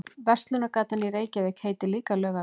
Verslunargatan í Reykjavík heitir líka Laugavegur.